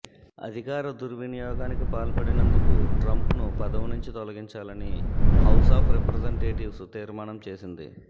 అధికార దుర్వినియోగానికి పాల్పడినందుకు ట్రంప్ను పదవి నుంచి తొలగించాలని హౌస్ ఆఫ్ రిప్రజెంటేటివ్స్ తీర్మానం చేసింది